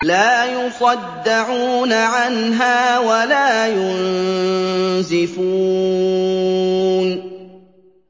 لَّا يُصَدَّعُونَ عَنْهَا وَلَا يُنزِفُونَ